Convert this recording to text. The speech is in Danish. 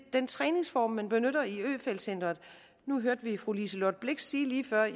den træningsform man benytter i øfeldt centret nu hørte vi fru liselott blixt sige lige før